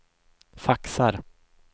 faxar